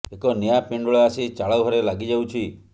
ଏକ ନିଆଁ ପିଣ୍ଡୁଳା ଆସି ଚାଳ ଘରେ ଲାଗି ଯାଉଛି